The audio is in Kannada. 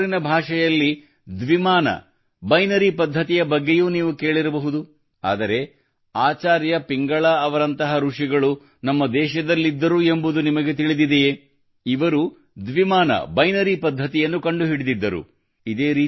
ಕಂಪ್ಯೂಟರಿನ ಭಾಷೆಯಲ್ಲಿ ಬೈನರಿ ಪದ್ಧತಿಯ ಬಗ್ಗೆಯೂ ನೀವು ಕೇಳಿರಬಹುದು ಆದರೆ ಆಚಾರ್ಯ ಪಿಂಗಳಾರಂತಹ ಋಷಿಗಳು ನಮ್ಮ ದೇಶದಲ್ಲಿದ್ದರು ಎಂಬುದು ನಿಮಗೆ ತಿಳಿದಿದೆಯೇ ಇವರು ಬೈನರಿ ಪದ್ಧತಿಯನ್ನು ಕಂಡುಹಿಡಿದಿದ್ದರು